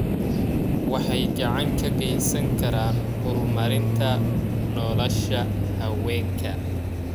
Waxay gacan ka geysan karaan horumarinta nolosha haweenka.